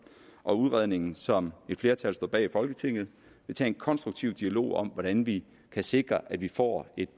og udredningen som et flertal står bag i folketinget vil tage en konstruktiv dialog om hvordan vi kan sikre at vi får et